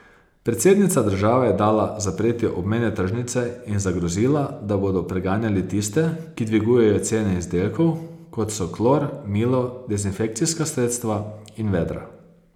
Predsednica države je dala zapreti obmejne tržnice in zagrozila, da bodo preganjali tiste, ki dvigujejo cene izdelkov, kot so klor, milo, dezinfekcijska sredstva in vedra.